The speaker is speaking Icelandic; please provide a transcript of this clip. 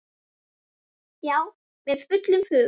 Já, með fullum hug.